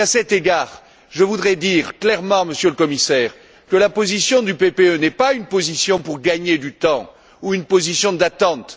À cet égard, je voudrais dire clairement, Monsieur le Commissaire, que la position du PPE n'est pas une position visant à gagner du temps ou une position d'attente.